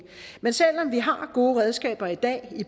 men selv om vi har gode redskaber i dag